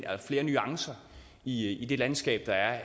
og flere nuancer i det landskab